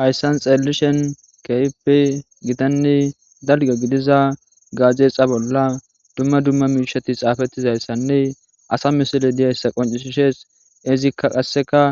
hayssan xelelishen keype gitanne dalga gidiza gaazeexa bolla dumma dumma miishati xaafettizayssanne asa misile diyayssa qoncisishees izikka qasseka